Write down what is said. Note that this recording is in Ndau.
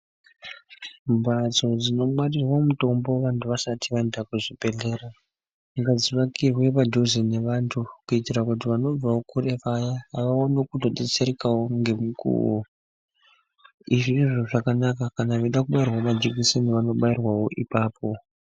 Mbatso dzinongwarirwe mutombo vantu vasati vaenda kuzvibhedhlera, ngadzivakirwe padhuze nevantu, kuitira kuti vanobvawo kure vaya, vaone kutodetserekawo ngemukuwo. Izvi ndizvo zvakanaka kana veida kubairwawo majikiseni vanobairwawo ipapo.